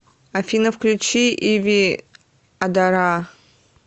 афина включи иви адара